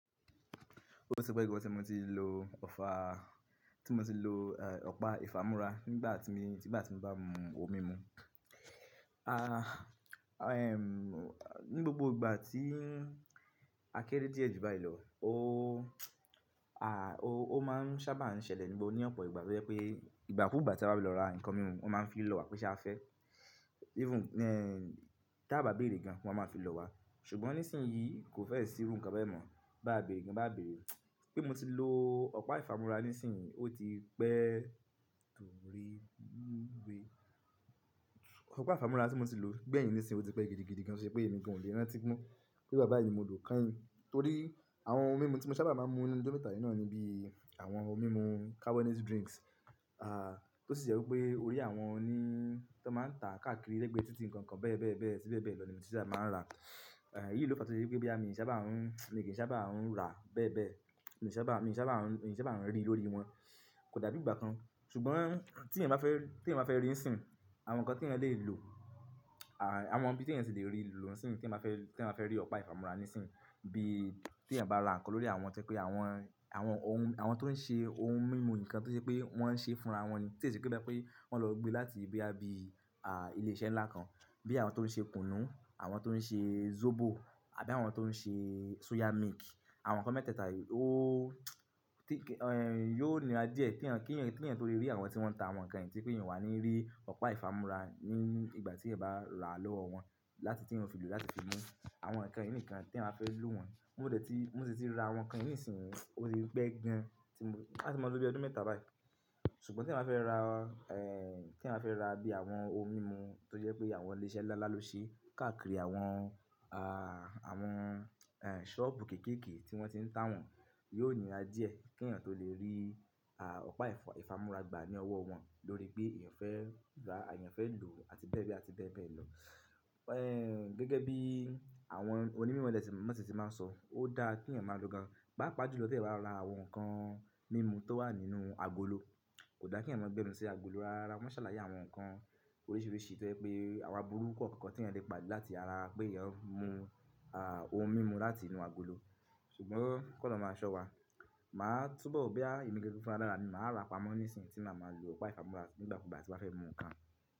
Ó ti pẹ́ gán tí mo ti lo ọ̀pá ìfámú́ra nígbà tí mo báa mu ohun mímu. Ni gbogbo ìgbà tí akẹ́rẹ́ díẹ̀ ju báyìí lọ, ó máa ṣábà ń ṣẹlẹ̀ níbo, ní ọ̀pọ̀ ìgbà tó jẹ pé ìgbàkugbà tí a bá fẹ lọ ra ǹkan mímu, wọ́n má ń fi lọ́wọ́ wa pé ṣé a fẹ́. Even tí a bá bèrè gan, wọ́n má fi lọ wa. Ṣùgbọ́n nísìnyí kò fẹ́ẹ̀ sí rú ǹkan bẹ́ẹ̀ mọ́. Bá bèrè gan bá bèrè, pé mo ti lo ọ̀pá ìfámú́ra nísìnyí, ó ti pẹ́ dúró irú ìwe. Ọ̀pá ìfámú́ra tí mo ti lò gbẹ̀yìn nísìnyí ó ti pẹ́ gidigidi gan, tó ṣe pé èmi gàn o lè rántí mọ́ pé ìgbà báyìí ni mo lọ kányìn. Torí àwọn ohun mímu tí mo ṣábà má ń mú lẹ nu jọ mẹ́ta yìí náà ni bí àwọn ohun mímu carbonated drinks, tó sì jẹ́ wípé orí àwọn oni tí wọ́n má ń ta káàkiri lẹ́gbẹ̀ẹ́ titi nǹkan bẹ́ẹ̀bẹ́ẹ̀bẹ́ẹ̀ àti bẹ́ẹ̀bẹ́ẹ̀ lọ ní mọ ti sábà má ń rà. Èyí ló fa tó fí ṣe pé boyà mi kìí sábà rà bẹ́ẹ̀bẹ́ẹ̀, mi ò sábà ń rí lórí wọn. Kò dàbí ìgbà kan. Ṣùgbọ́n tí èèyàn bá fẹ́ rí nísìn, àwọn nǹkan tí èèyàn lè lò, àwọn ibi tí èèyàn tí lè rí lò ìsìn yìí teyán bá fẹ́ rí ọ̀pá ìfámú́ra ní ìsìn, bí tí èèyàn bá ra ǹkan lórí àwọn tí jẹ pé àwọn tó ń ṣe ohun mímu nǹkan tó ṣe pé wọ́n ń ṣe fúnra wọ́n ni, tí ó ṣì ṣe pé bi ẹni pé wọ́n lọ gbé láti bóyá bí ilé iṣẹ́ nlá kan. Bí àwọn tó ń ṣe kùnú, àwọn tó ń ṣe zobo àbí àwọn tó ń ṣe soya milk, àwọn nǹkan mẹ́tẹ́ẹ̀ta yìí yóò níra díẹ̀ kí èèyàn tó lè rí àwọn tí wọ́n ń ta àwọn nǹkan yìí tí pé èèyàn o wà ní rí ọ̀pá ẹ ìfámú́ra ní ìgbà tí èèyàn bá ra lọ́wọ́ wọn láti tí wọn fi lò láti fi mú àwọn nǹkan yìí nìkan tí ẹ yan ba fẹ́ lò wọ́n. Mo dẹ̀ ti, mo sì ti ra àwọn nǹkan yìí nísìnyí ó ti pẹ́ gan ti mo–áti máa lo bíi ọdún mẹ́ta báyìí. Ṣùgbọ́n t’èèyàn bá fẹ́ ra, ẹ̀, t’èèyàn bá fẹ́ ra bí àwọn ohun mímu tó jẹ́ pé àwọn ilé iṣẹ́ nlá ló ṣe káàkiri àwọn ṣọ́ọ̀bù kéékèèké tí wọ́n ti ń tá wọ́n, yóò nira díẹ̀ kí èèyàn tó lè rí, àh, ọ̀pá ìfámú́ra gbà ní ọwọ́ wọn lórí pé èèyàn fẹ́ rà àbí èèyàn fẹ́ lò àti bẹ́ẹ̀bẹ́ẹ̀bẹ́ẹ̀ lọ. Gẹ́gẹ́ bí àwọn oní mímọ̀ dẹ̀ ti má ń sọ, ó dára kí èèyàn máa lo gan, paapa jú lọ t’èèyàn bá ń lọ ra àwọn nǹkan mímu tó wà nínú agolo. Kò da kí èèyàn máa gbẹ́nu sí agolo rárá rárá. Wọ́n ṣàlàyé àwọn nǹkan oríṣiríṣi tó jẹ́ pé àwọn aburú kọ̀ọ̀kan tí èèyàn lè pàde láti ara pé èèyàn ń mu, ah, ohun mímu láti inú agolo. Ṣùgbọ́n kí Ọlọrun máa sọ́wa, máà túbọ̀, bọ́yá èmi gangan fúnra lára mi, màá rà pamọ́ nísìnyí tí màá máa lo ọ̀pá ìfámú́ra nígbàkugbà tí n bá fẹ́ mú nǹkan.